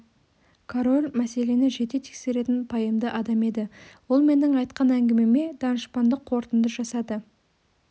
король мәселені жете тексеретін пайымды адам еді ол менің айтқан әңгімеме данышпандық қорытынды жасады